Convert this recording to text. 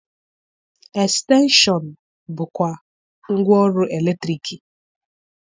Estenshọn bụkwa ngwa ọrụ eletriki.